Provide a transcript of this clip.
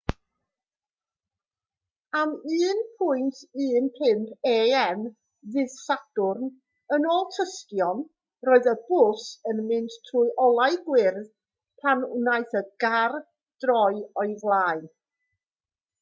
am 1:15 a.m. ddydd sadwrn yn ôl tystion roedd y bws yn mynd trwy olau gwyrdd pan wnaeth y car droi o'i flaen